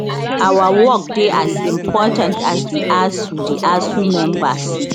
our work dey as important as di asuu di asuu members